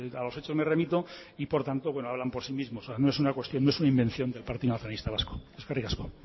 a los hechos me remito y por tanto hablan por sí mismos no es una cuestión de su invención del partido nacionalista vasco eskerrik asko